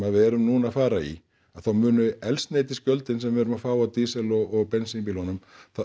við erum núna að fara í þá muni eldsneytisgjöldin sem við erum að fá af dísel og bensínbílunum